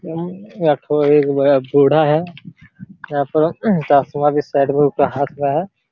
उम्म एकठो ए बूढ़ा है यहां पर चश्मा भी उनके हाथ में साइड में है।